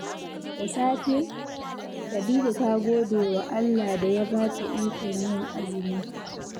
Da safe, Khadija ta gode wa Allah da ya ba ta ikon yin azumi.